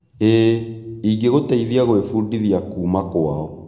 Iĩ, ĩgũtũteithia gwĩbundithia kuuma kwao.